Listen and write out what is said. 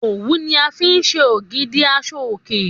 Òwú ni a fi ń ṣe ògidì aṣọ òkè